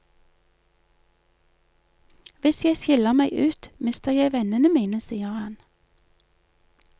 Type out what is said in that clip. Hvis jeg skiller meg ut, mister jeg vennene mine, sier han.